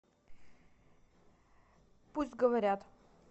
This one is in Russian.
пусть говорят